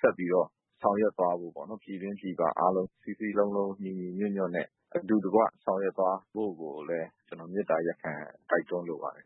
ဆက်ပြီးတော့ ဆောင်ရွက်သွားဖို့ပေါ့နော် ။ ပြည်တွင်းပြည်ပအားလုံး စည်းစည်းလုံးလုံး ညီညီညွှတ်ညွှတ်နဲ့ အတူတကွ ဆောင်ရွက်သွားဖို့ကို ကျနော်မေတ္တာရပ်ခံ တိုက်တွန်းလိုပါတယ်ခ